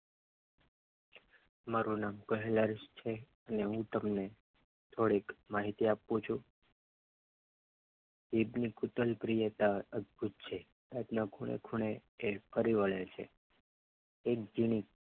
મારું નામ કૈલાશ છે હું તમને થોડીક માહિતી આપું છું ઈદની કુતલ પ્રિયતા અદભુત છે રાતના ખૂણે ખૂણે એ ફરી વળે છે